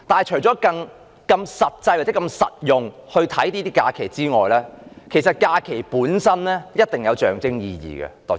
除了以實際作用的角度看假期，其實假期本身亦有一定的象徵意義。